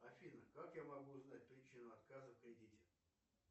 афина как я могу узнать причину отказа в кредите